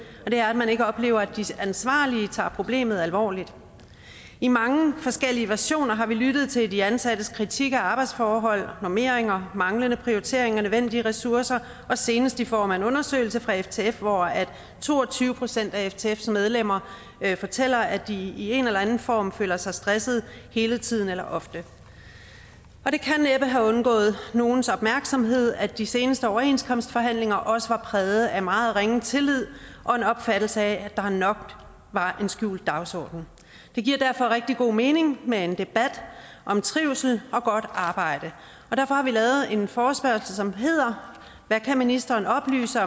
og det er at man ikke oplever at de ansvarlige tager problemet alvorligt i mange forskellige versioner har vi lyttet til de ansattes kritik af arbejdsforhold normeringer manglende prioriteringer af nødvendige ressourcer og senest i form af en undersøgelse fra ftf hvor to og tyve procent af ftfs medlemmer fortæller at de i en eller anden form føler sig stressede hele tiden eller ofte det kan næppe have undgået nogens opmærksomhed at de seneste overenskomstforhandlinger også var præget af meget ringe tillid og en opfattelse af at der nok var en skjult dagsorden det giver derfor rigtig god mening med en debat om trivsel og godt arbejde og derfor har vi lavet en forespørgsel som hedder hvad kan ministeren oplyse